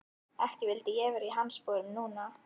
Ekki vildi ég vera í hans sporum núna.